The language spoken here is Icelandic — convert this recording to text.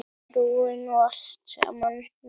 Prófin og allt samana.